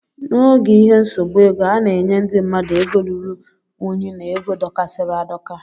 N' ógè ihe nsogbu ego, ana enye ndị mmadụ ego lụrụ ụnyi na égo dokasiri adoka.